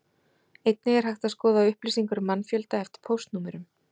Einnig er hægt að skoða upplýsingar um mannfjölda eftir póstnúmerum.